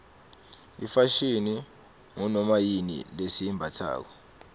ifashini ngunoma yini lesiyimbatsako